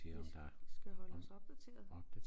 Vi vi skal holde os opdateret